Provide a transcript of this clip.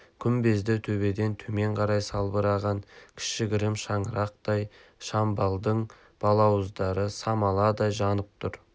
күмбезді төбеден төмен қарай салбыраған кішігірім шаңырақтай шамдалдың балауыздары самаладай жанып тұр